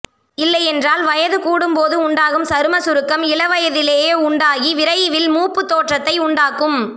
இல்லையென்றால் வயது கூடும்போது உண்டாகும் சரும சுருக்கம் இளவயதிலேயே உண்டாகி விரைவில் மூப்பு தோற்றத்தை உண்டாக்கும்